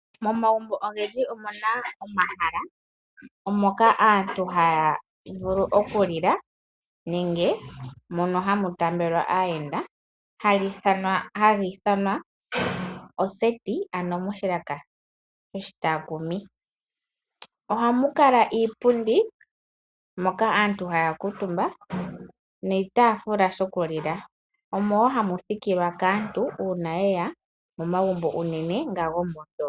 Momagumbo ogendji omuna omahala moka aantu haa vulu okulila nenge mono hamu taambelwa aayenda hali ithanwa oseti, ano moshilaka shoshitaakumi. Ohamu kala iipundi moka aantu haya kuutumba niitafula shokulila. Omo woo hamu thikilwa kaantu uuna yeya momagumbo uunene nga gomondoolopa.